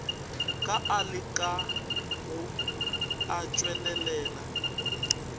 ka a lekago a tšwelelela